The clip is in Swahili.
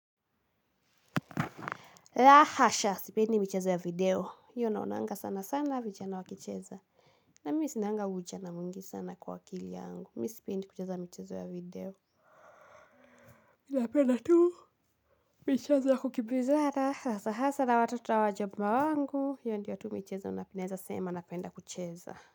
La hasha sipendi michezo ya video hiyo naonanga sana sana vijana wakicheza na mimi sinanga ujana mwingi sana kwa akili yangu mi sipendi kucheza michezo ya video napenda tu michezo ya kukimbizana hasa hasa na watoto wa mume wangu hiyo ndio tu michezo naeza sema napenda kucheza.